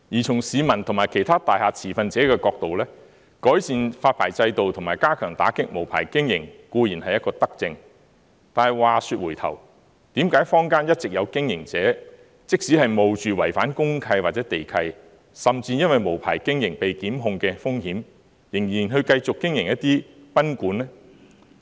從市民及其他大廈持份者的角度而言，改善發牌制度及加強打擊無牌經營，固然是一項德政，但話說回頭，為何坊間一直有經營者，即使冒着違反公契或地契，甚至因為無牌經營被檢控的風險，仍然繼續經營賓館呢？